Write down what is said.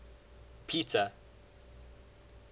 peter